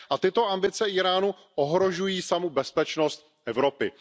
A tyto ambice Íránu ohrožují samu bezpečnost Evropy.